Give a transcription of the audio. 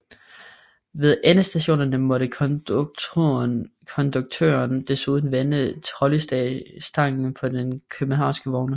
Ved endestationerne måtte konduktøren desuden vende trolleystangen på de københavnske vogne